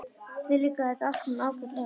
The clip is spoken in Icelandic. Þér líkar þetta allt saman ágætlega.